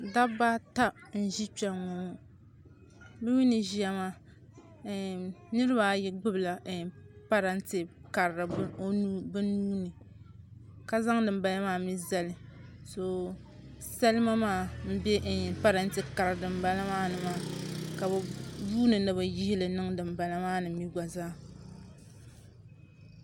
Dabba n ʒi kpɛŋŋo ŋo bi mii ni ʒiya maa niraba ayi gbubila parantɛ karili bi nuuni ka zaŋ dinbala maa mii zali salima maa n bɛ parantɛ kari dinbala maa ni maa ka bi yuundi ni bi yihili niŋ dinbala maa ni mii gba zaa